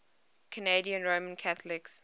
canadian roman catholics